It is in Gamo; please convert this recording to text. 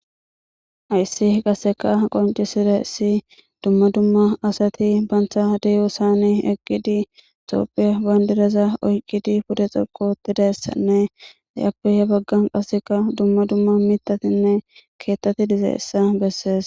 Hayssi qaseka qoncisira issi dumma dumma asati bantha deyo saani eqqidi toophiya bandiraza oyqqidi pude xoqotidassanne dayappehe baggan qaseka dumma dumma mitatinne keettati dizeessa bessees